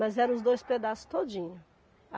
Mas eram os dois pedaços todinhos.